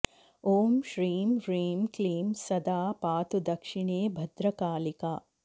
ॐ श्रीं ह्रीं क्लीं सदा पातु दक्षिणे भद्रकालिका